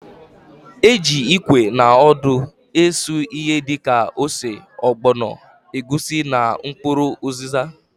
E ji ikwe na odo esu ihe dịka: ose, ọgbọnọ, egwusi na mkpụrụ ụzịza.